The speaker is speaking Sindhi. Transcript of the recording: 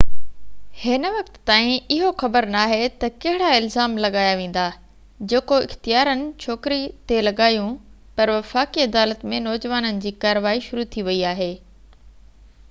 هن وقت تائين اهو خبر ناهي ته ڪهڙا الزام لاڳايا ويندا جيڪو اختيارين ڇوڪري تي لڳايون پر وفاقي عدالت ۾ نوجوانن جي ڪارروائي شروع ٿي وئي آهي